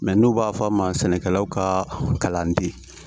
Mɛ n'u b'a f'a ma sɛnɛkɛlaw ka kalanden